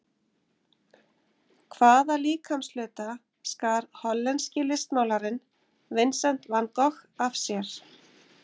Hvaða líkamshluta skar hollenski listmálarinn Vincent Van Gogh af sér?